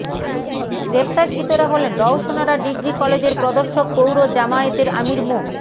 গ্রেপ্তারকৃতরা হলেন রওশনারা ডিগ্রি কলেজের প্রদর্শক পৌর জামায়াতের আমির মো